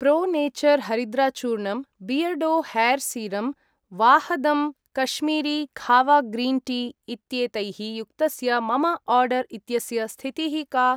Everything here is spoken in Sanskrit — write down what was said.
प्रो नेचर् हरिद्राचूर्णम् , Beardo hair serum , Vahdam Kashmiri kahwa green tea इत्येतैः युक्तस्य मम आर्डर् इत्यस्य स्थितिः का?